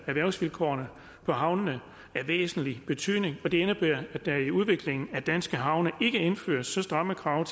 erhvervsvilkårene for havnene af væsentlig betydning det indebærer at der i udviklingen af danske havne ikke indføres så stramme krav